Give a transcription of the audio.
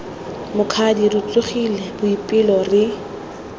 mokgadi re tsogile boipelo re